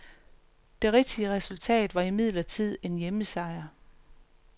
Det rigtige resultat var imidlertid en hjemmesejr.